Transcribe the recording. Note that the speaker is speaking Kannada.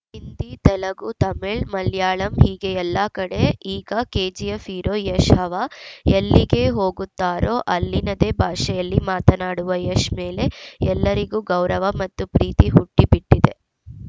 ಹಿಂದಿ ತೆಲಗು ತಮಿಳು ಮಲಯಾಳಂ ಹೀಗೆ ಎಲ್ಲಾ ಕಡೆ ಈಗ ಕೆಜಿಎಫ್‌ ಹೀರೋ ಯಶ್‌ ಹವಾ ಎಲ್ಲಿಗೆ ಹೋಗುತ್ತಾರೋ ಅಲ್ಲಿನದೇ ಭಾಷೆಯಲ್ಲಿ ಮಾತನಾಡುವ ಯಶ್‌ ಮೇಲೆ ಎಲ್ಲರಿಗೂ ಗೌರವ ಮತ್ತು ಪ್ರೀತಿ ಹುಟ್ಟಿಬಿಟ್ಟಿದೆ